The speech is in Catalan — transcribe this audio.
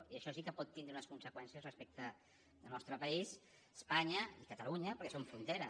i això sí que pot tindre unes conseqüències respecte al nostre país espanya i catalunya perquè som frontera